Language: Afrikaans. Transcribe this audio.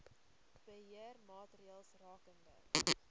beheer maatreëls rakende